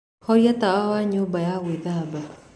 horia tawa wa nyũmba ya gwĩthamba